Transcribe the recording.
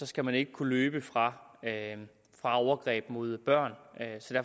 skal man ikke kunne løbe fra overgreb mod børn